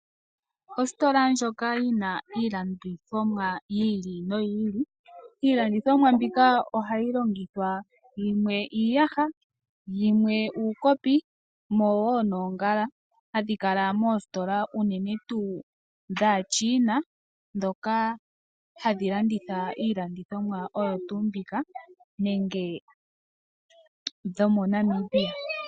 Ositola ndjoka yina iilandithomwa yi ili noyi ili. Iilandithomwa mbika ohayi longithwa yimwe iiyaha, yimwe uukopi mumwe wo noongala hadhi kala mositola unene tuu dhaChina dhoka hadhi landitha iilandithomwa oyo tuu mbika nenge dhomo Namibia.